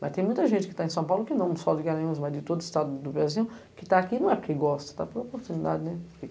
Mas tem muita gente que está em São Paulo, que não só de Garanhuns, mas de todo o estado do Brasil, que está aqui não é porque gosta, está por oportunidade.